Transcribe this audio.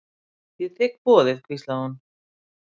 Ég þigg boðið hvíslaði hún.